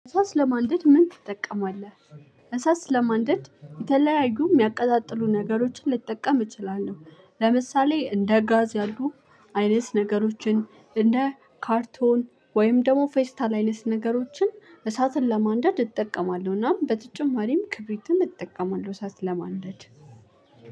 እሳት ለማንደድ ምን ትጠቀማለህ? እሳት ስለማንደድ የተለያዩ የሚያቀጣጥሉ ነገሮችን ልትጠቀም እችላለሁ። ለምሳሌ እንደ ጋዝ ያሉ አይነት ነገሮችን እንደ ካርቶን ወይም ደግሞ ፌስታል አይነት ነገሮችን እሳትን ለማንደድ እጠቀማለሁናም በተጨማሪም ክብሪትን እጠቀማለሁ። እሳትን ለማንደድ